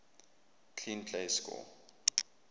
clean plays score